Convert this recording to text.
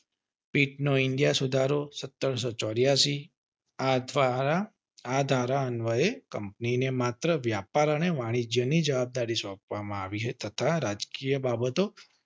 નો India નો સુધારો સત્તરસો ચોરીયાસી આ અથવા આ ધારા અન્વયે કંપની ને માત્ર વ્યાપાર અને વાણિજ્ય ની જવાબદારી સોપવામાં આવી હતી તથા કે બાબતો